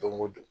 Don o don